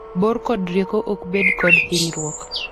bor kod rieko ok bed kod hinyruok